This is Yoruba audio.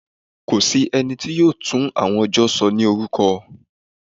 Kò sí ẹni tí yóò tú àwọn ọjọ́ sọ ní orúkọ.